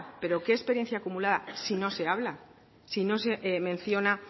pero qué experiencia acumulada si no se habla si no se menciona